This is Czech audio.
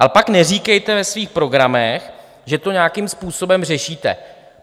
Ale pak neříkejte ve svých programech, že to nějakým způsobem řešíte.